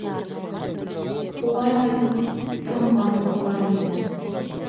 олай айту тым батыл болар еді